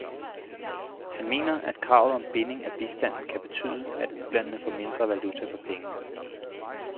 Han mener, at kravet om binding af bistanden kan betyde, at ulandene får mindre valuta for pengene.